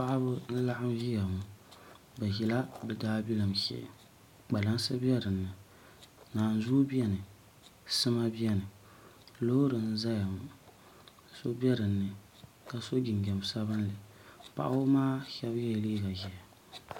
Paɣaba n laɣam ƶiya ŋo bi ʒila bi daabilim shee kpalansi bɛ dinni naanzuu biɛni sima biɛni loori n ʒɛya ŋo so bɛ dinni ka so jinjɛm sabinli paɣaba maa so yɛla liiga ʒiɛhi